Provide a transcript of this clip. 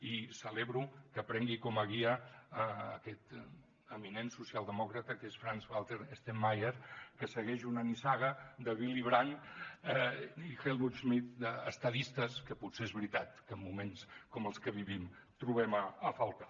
i celebro que prengui com a guia aquest eminent socialdemòcrata que és frank walter steinmeier que segueix una nissaga de willy brandt i helmut schmidt d’estadistes que potser és veritat que en moments com els que vivim trobem a faltar